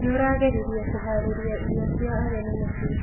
Nĩũrageririe kũharĩria irio cia ageni mũcii.